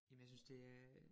Jamen jeg synes det er